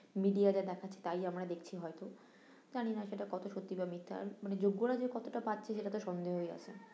media যা দেখাচ্ছে তাই আমরা দেখছি হয়ত, জানি না সেটা কত সত্যি বা মিথ্যা মানে যোগ্য রা যে কতটা পাচ্ছে সেটাতে সন্দেহই আছে